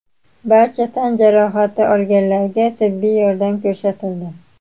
Barcha tan jarohati olganlarga tibbiy yordam ko‘rsatildi.